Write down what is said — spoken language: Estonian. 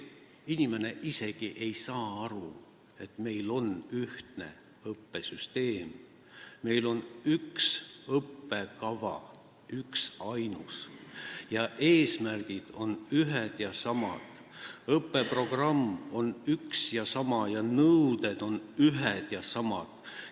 Inimene isegi ei saa aru, et meil on ühtne õppesüsteem, meil on üks õppekava, üksainus, eesmärgid on ühed ja samad, õppeprogramm on üks ja sama ning nõuded on ühed ja samad.